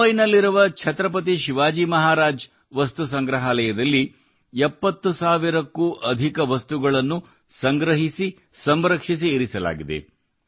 ಮುಂಬಯಿಯಲ್ಲಿರುವ ಛತ್ರಪತಿ ಶಿವಾಜಿ ಮಹಾರಾಜ್ ವಾಸ್ತು ಸಂಗ್ರಹಾಲಯದಲ್ಲಿ 70 ಸಾವಿರಕ್ಕೂ ಅಧಿಕ ವಸ್ತುಗಳನ್ನು ಸಂಗ್ರಹಿಸಿ ಸಂರಕ್ಷಿಸಿ ಇರಿಸಲಾಗಿದೆ